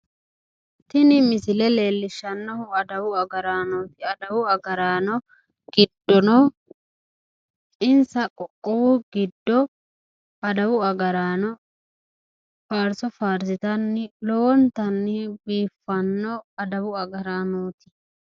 tini misile leellishshannohu adawu agaraanooti adawu agaraano giddono insa qoqqowu giddo adawu agaraano faarso faarsitanni lowontanni biiffanno adawu agaraanooti.